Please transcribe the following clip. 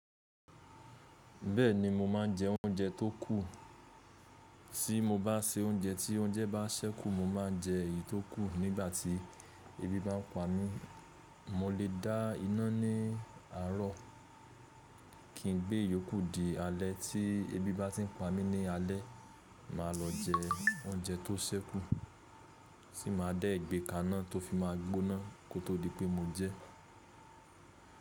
Bẹ́ẹ̀ni mo máa ń jẹ oúnjẹ tó kù. Tí mo bá se oúnjẹ tí oúnjẹ bá ṣẹ́kù mo máa jẹ èyí tó kù nígbà tí ebi bá ń pa mí. Mo lè dá iná ní àárọ̀ kín gbé ìyókù di alẹ́ tí ebi bá ti ń pa mí ní alẹ́. Máa lọ jẹ oúnjẹ tó ṣẹ́kù, tì máa dẹ́ gbẹ́ kaná tó fi máa gbóná kó tó di pé mo jẹ́.